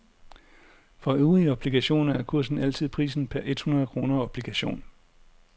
For øvrige obligationer er kursen altid prisen per et hundrede kroner obligation.